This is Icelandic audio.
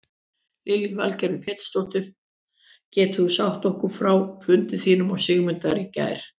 Lillý Valgerður Pétursdóttir: Getur þú sagt okkur frá fundi þínum og Sigmundar í gær?